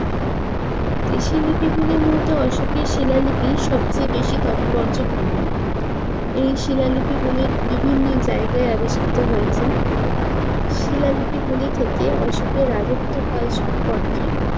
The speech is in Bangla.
দেশি লিপিগুলির মধ্যে অশোকের শিলালিপি সবচেয়ে বেশি তাৎপর্যপূর্ণ। এই শিলালিপি গুলির বিভিন্ন জায়গায় আবিষ্কৃত হয়েছে, শিলালিপি গুলি থেকে অশোকের রাজত্যকাল সম্পর্কে